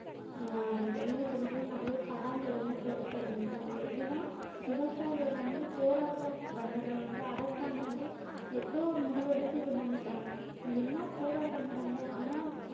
ஆஹ் இந்த நீங்க சொன்னது போல நிறைய படங்கள் எல்லாம் இப்ப எடுக்க தொடங்கிட்டாங்க எப்படின்னா விவசாயிகள் வந்து போராட்டம் பண்ணதில வந்து அரசாங்கம் வந்து எப்படியோ ஒரு முடிவெடுத்து இது பண்ணிட்டாங்க என்ன போராட்டம் நடந்தது ஆனா